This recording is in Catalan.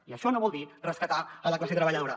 i això no vol dir rescatar la classe treballadora